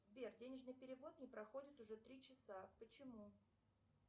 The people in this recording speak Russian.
сбер денежный перевод не проходит уже три часа почему